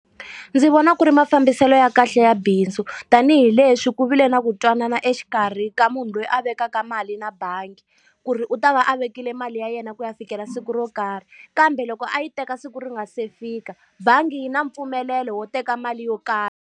Ndzi vona ku ri mafambiselo ya kahle ya bindzu. Tanihi leswi ku vile na ku twanana exikarhi ka munhu loyi a vekaka mali na bangi, ku ri u ta va a vekile mali ya yena ku ya fikela siku ro karhi. Kambe loko a yi teka siku ri nga se fika, bangi yi na mpfumelelo wo teka mali yo karhi.